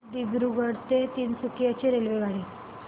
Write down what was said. दिब्रुगढ ते तिनसुकिया ची रेल्वेगाडी